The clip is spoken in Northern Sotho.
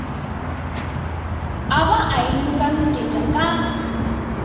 a ba a inokanoketša ka